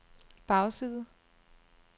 bagside